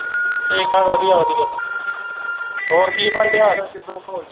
ਠੀਕ ਠਾਕ ਵਧੀਆ ਵਧੀਆ ਹੋਰ ਕੀ ਬਣਨ ਦਿਆ